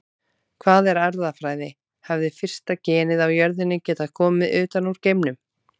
Hvað er erfðafræði Hefði fyrsta genið á jörðinni getað komið utan úr geimnum?